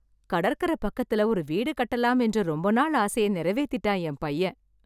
கடற்கரை பக்கத்துல ஒரு வீடு கட்டலாம் என்ற ரொம்ப நாள் ஆசையா நிறைவேத்திட்டான், என் பையன்